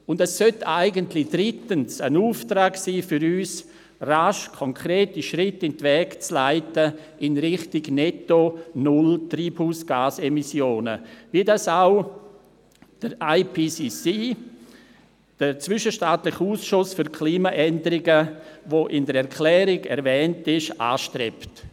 Drittens sollte es eigentlich ein Auftrag an uns sein, rasch konkrete Schritte in die Wege zu leiten in Richtung netto null Treibhausgas-Emissionen, wie dies auch der IPCC, der zwischenstaatliche Ausschuss für Klimaveränderungen, der in der Erklärung erwähnt wird, anstrebt.